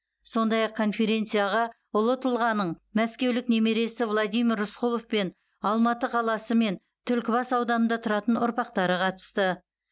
сондай ақ конференцияға ұлы тұлғаның мәскеулік немересі владимир рысқұлов пен алматы қаласы мен түлкібас ауданында тұратын ұрпақтары қатысты